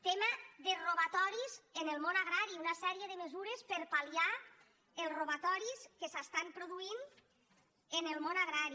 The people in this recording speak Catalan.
tema de robatoris en el món agrari una sèrie de mesures per a palrobatoris que s’estan produint en el món agrari